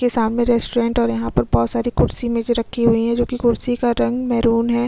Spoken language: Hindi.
यह सामने रेस्टोरेंट और यहाँ पर बहुत सारी कुर्शियाए मेज़ रखी हुई है जो की कुर्शी का रंग मेरून है। --